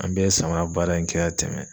An bɛɛ ye samara baara in kɛ ka tɛmɛ.